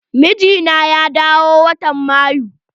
Mijina ya dawo watan Mayu.